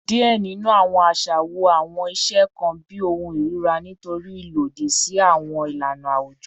Diẹ ninu awọn aṣa wo awọn iṣe kan bi ohun irira nitori ilodi si awọn ilana awujọ